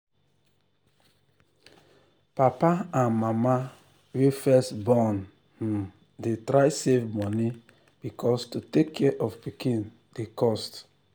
papa and mama wey first born um dey try save money because to take care of pikin dey cost.